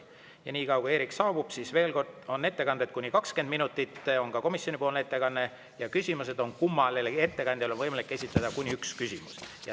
Ja enne kui Eerik saabub, ütlen, et ettekanded on kuni 20 minutit – on ka komisjonipoolne ettekanne – ja kummalegi ettekandjale võimalik esitada üks küsimus.